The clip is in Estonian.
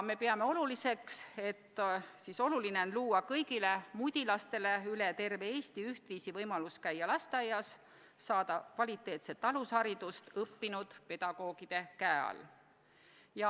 Me peame oluliseks luua kõigile mudilastele üle terve Eesti ühtviisi võimalus käia lasteaias, saada kvaliteetset alusharidust õppinud pedagoogide käe all.